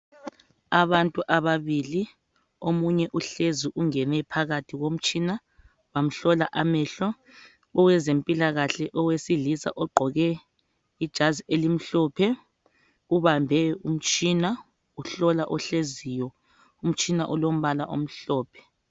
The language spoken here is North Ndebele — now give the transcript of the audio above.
Abantu ababili, omunye uhlezi ungene phakathi komtshina, bamhlola amehlo. Kulowezempilakahle owesilisa ogqoke ijazi elimhlophe, ubambe umtshina, uhlola ohleziyo. Umtshina ulombala omhlophe.